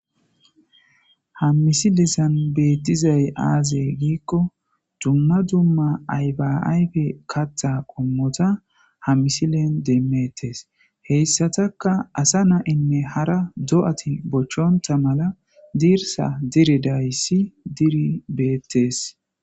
Ha misilezan beetizay aaze giikko dumma dumma ayfa ayfa kaththa qommota ha misilen demmettes heyssatakka asa na'inne hara do'ati bochonta mala dirssa dirizadayssi diri beettes.